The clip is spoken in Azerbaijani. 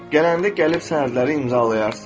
Gələndə gəlib sənədləri imzalayarsan.